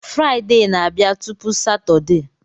Fraịde na-abịa tupu Satọdee